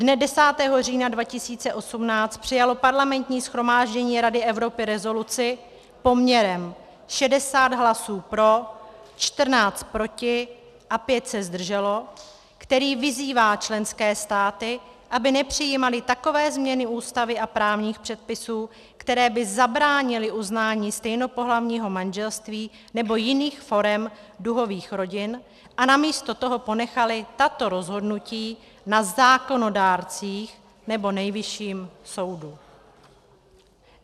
Dne 10. října 2018 přijalo Parlamentní shromáždění Rady Evropy rezoluci poměrem 60 hlasů pro, 14 proti a 5 se zdrželo, která vyzývá členské státy, aby nepřijímaly takové změny ústavy a právních předpisů, které by zabránily uznání stejnopohlavního manželství nebo jiných forem duhových rodin, a namísto toho ponechaly tato rozhodnutí na zákonodárcích nebo Nejvyšším soudu.